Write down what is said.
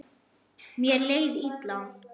Mér leið illa.